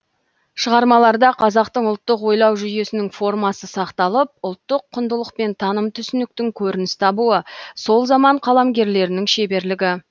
шығармаларда қазақтың ұлттық ойлау жүйесінің формасы сақталып ұлттық құндылық пен таным түсініктің көрініс табуы сол заман қаламгерлерінің шеберлігі